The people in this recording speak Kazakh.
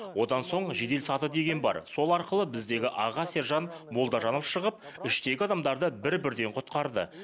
одан соң жедел саты деген бар сол арқылы біздегі аға сержант молдажанов шығып іштегі адамдарды бір бірден құтқарды